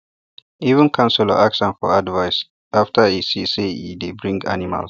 even councillor ask am for advice after e see say e dey bring animals